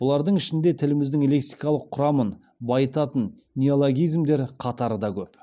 бұлардың ішінде тіліміздің лексиқалық құрамын байытатын неологизмдер қатары да көп